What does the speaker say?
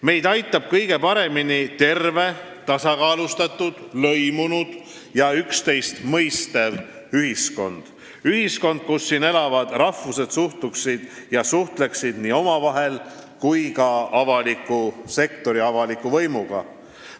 Meid aitab kõige paremini terve, tasakaalustatud, lõimunud ja üksteist mõistev ühiskond – ühiskond, kus elavad rahvused suhtleksid nii omavahel kui ka avaliku sektori ja avaliku võimuga.